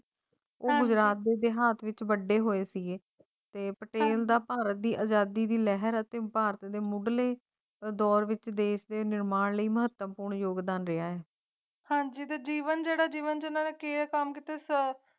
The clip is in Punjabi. ਤੇ ਭਾਰਤ ਦੀ ਆਜ਼ਾਦੀ ਦੀ ਲਹਿਰ ਅਤੇ ਭਾਰਤ ਦੇ ਮੁੱਢਲੇ ਦੌਰ ਵਿਚ ਦੇਸ ਨਿਰਮਾਣ ਲਈ ਮਹੱਤਵਪੂਰਨ ਯੋਗਦਾਨ ਹੈ ਹਾਂ ਜੀ ਦੇ ਜੀਵਨ ਦੇ ਰਾਹ ਦੀ ਵੰਦਨਾ ਕਾਨ ਉਤਸਵ